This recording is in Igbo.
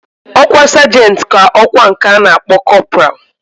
Okwa sergent ka okwa nke ana akpo corporal.